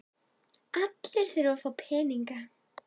Allir þurfa að fá peninga.